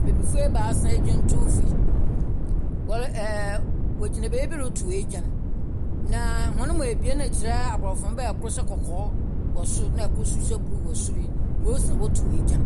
Abibifo ebaasa egyantowfo yi, wogyina baabi retow egyan. Na wɔnmu abien rekyerɛ abrɔfo mma a ɛkor so kɔkɔɔ na ɛkor so hyɛ bluu wɔ sor yi, mmrɛ wosi wɔtow egyan.